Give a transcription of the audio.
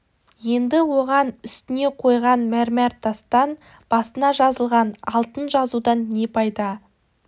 енді оған үстіне қойған мәрмәр тастан басына жазылған алтын жазудан не пайда